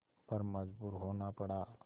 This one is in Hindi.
पर मजबूर होना पड़ा